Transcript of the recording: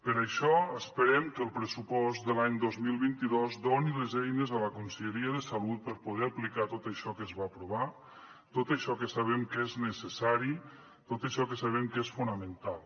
per això esperem que el pressupost de l’any dos mil vint dos doni les eines a la conselleria de salut per poder aplicar tot això que es va aprovar tot això que sabem que és necessari tot això que sabem que és fonamental